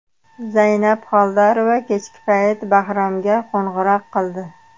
Zaynab Xoldorova kechki payt Bahromga qo‘ng‘iroq qildi.